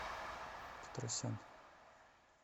петросян